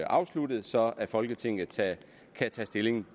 afsluttet så folketinget kan tage stilling